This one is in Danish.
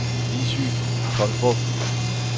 Lissy Tolstrup